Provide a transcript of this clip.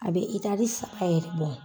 A bɛ itari saba yɛrɛ bɔ.